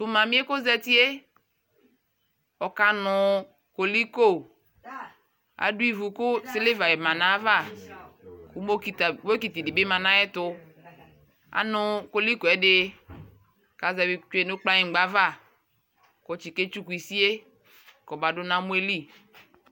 Tʋ mami yɛ kʋ ozati yɛ ɔkanʋ koliko Adʋ ivu kʋ siliva va nʋ ayʋ ava kʋ bokiti dι bι ma nʋ ayʋ ɛtu Anʋ koliko yɛ dι kʋ azɛvi tsue nʋ kpaŋkpa ava kʋ ɔtiketsukʋ isi yɛ kɔmadʋ nʋ amɔ yɛ lι